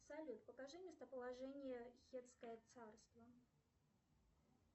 салют покажи местоположение хельское царство